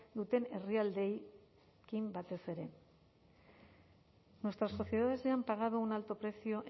duten herrialdeekin batez ere nuestras sociedades ya han pagado un alto precio